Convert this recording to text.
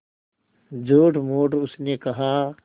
झूठमूठ उसने कहा